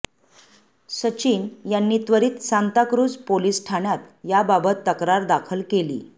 सचिन यांनी त्वरीत सांताक्रूझ पोलिस ठाण्यात याबाबत तक्रार दाखल केली